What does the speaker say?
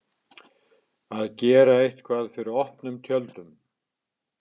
Að gera eitthvað fyrir opnum tjöldum